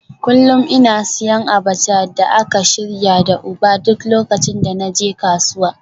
Kullum ina siyan abacha da aka shirya da ugba duk lokacin da na je kasuwa